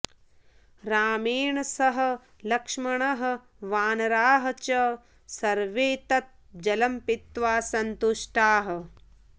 रामेण सह लक्ष्मणः वानराः च सर्वे तत् जलं पीत्वा सन्तुष्टाः